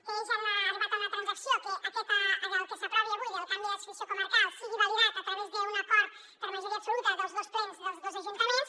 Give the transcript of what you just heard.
ells han arribat a una transacció que el que s’aprovi avui del canvi d’adscripció comarcal sigui validat a través d’un acord per majoria absoluta dels dos plens dels dos ajuntaments